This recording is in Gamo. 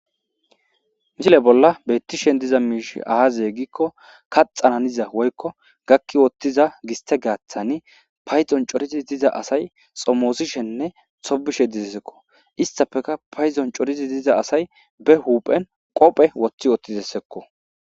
misile bolla bettishen diza miishi aaze gikko kaxananiza woykko gakki wottiza giste gaathani payzon corizi diza asay xomoosishenne xobishe dizessekko istafeka payzon corizi diza asay be huphen qophe woththi ottidessekko